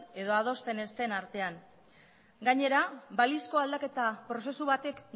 edo adosten ez den artean gainera balizko aldaketa prozesu batek